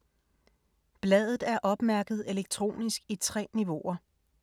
Bladet er opmærket elektronisk i 3 niveauer.